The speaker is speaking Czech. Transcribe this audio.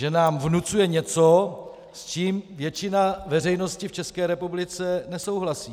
Že nám vnucuje něco, s čím většina veřejnosti v České republice nesouhlasí.